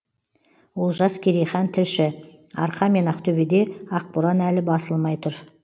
олжас керейхан тілші арқа мен ақтөбеде ақборан әлі басылмай тұр